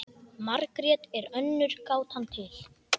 Margrét er önnur gátan til.